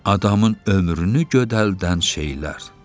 Adamın ömrünü gödəldən şeylər.